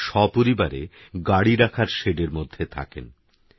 তাঁরাসপরিবারেগাড়িরাখারশেডেরমধ্যেথাকেন